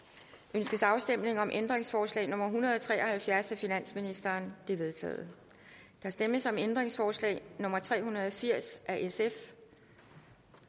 ønskes afstemning om ændringsforslag nummer en hundrede og tre og halvfjerds af finansministeren det er vedtaget der stemmes om ændringsforslag nummer tre hundrede og firs af sf